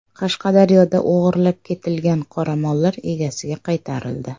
Qashqadaryoda o‘g‘irlab ketilgan qoramollar egasiga qaytarildi.